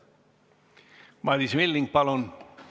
Madis Milling, palun!